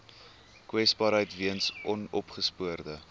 kwesbaarheid weens onopgespoorde